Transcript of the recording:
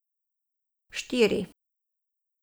Štiri.